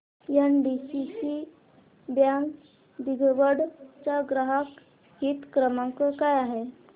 NDCC bank दिघवड चा ग्राहक हित क्रमांक काय आहे